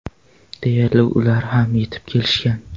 Deyarli ular ham yetib kelishgan.